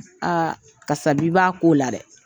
Aa kasabi b'a ko la dɛ!